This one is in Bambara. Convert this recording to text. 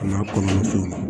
A n'a kɔnɔna fɛnw na